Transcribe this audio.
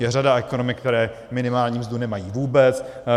Je řada ekonomik, které minimální mzdu nemají vůbec.